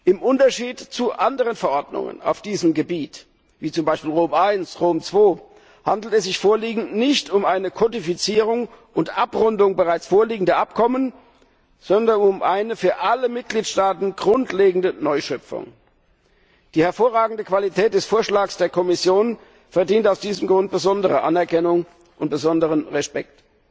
Im Unterschied zu anderen Verordnungen auf diesem Gebiet wie zum Beispiel Rom I oder Rom II, handelt es sich nicht um eine Kodifizierung und Abrundung bereits vorliegender Abkommen, sondern um eine für alle Mitgliedstaaten grundlegende neue Schöpfung. Die hervorragende Qualität des Vorschlags der Kommission verdient aus diesem Grund besondere Anerkennung und besonderen Respekt.